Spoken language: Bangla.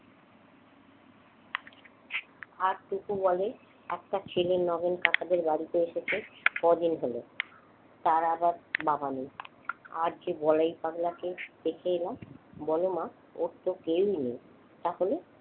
আজ টুকু বলে একটা ছেলে নগেন কাকাদের বাড়িতে এসেছে কদিন হলো তার আবার বাবা নেই আর যে বলায় পাগলাকে দেখে এলাম বল মা ওর তো কেউ নেই তাহলে।